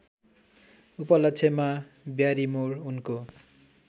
उपलक्ष्यमा ब्यारिमोर उनको